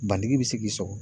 Bantigi bi se k'i sɔgɔ.